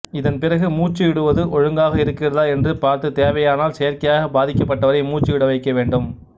இதன் பிறகு மூச்சு விடுவது ஒழுங்காக இருக்கிறதா என்று பார்த்து தேவையானால் செயற்கையாக பாதிக்கப்பட்டவரை மூச்சு விடவைக்க வேண்டும்